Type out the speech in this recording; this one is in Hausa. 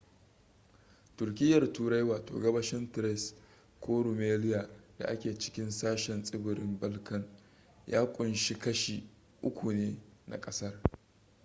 turkiyyar turai wato gabashin thrace ko rumelia da ke cikin sashen tsibirin balkan ya kunshi kashi 3% ne na ƙasar